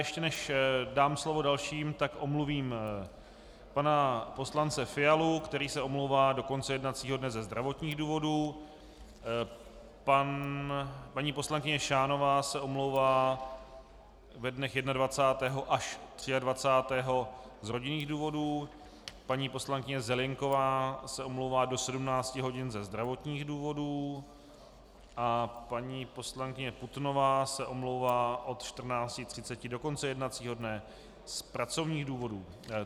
Ještě než dám slovo dalším, tak omluvím pana poslance Fialu, který se omlouvá do konce jednacího dne ze zdravotních důvodů, paní poslankyně Šánová se omlouvá ve dnech 21. až 23. z rodinných důvodů, paní poslankyně Zelienková se omlouvá do 17 hodin ze zdravotních důvodů a paní poslankyně Putnová se omlouvá od 14.30 do konce jednacího dne z pracovních důvodů.